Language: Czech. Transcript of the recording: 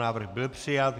Návrh byl přijat.